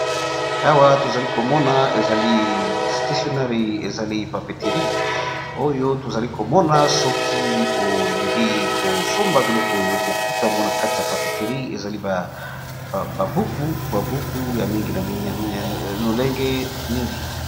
Awa tozali komona ezali stationnari , ezali papeterie oyo tozali komona soki olingi kosomba biloko oyo okuta yango na kati ya papeterie ezali ba buku babuku ya mingi lolenge mingi.